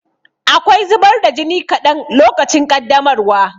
Akwai zubar da jini kaɗan lokacin ƙaddamarwa.